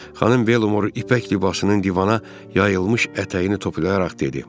Xanım Velmor ipək libasının divana yayılmış ətəyini toplayaraq dedi.